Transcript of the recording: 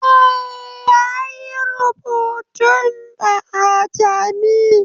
Eh, ya yi rubutun da ajami